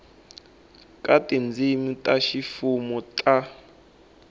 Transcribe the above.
ka tindzimi ta ximfumo ta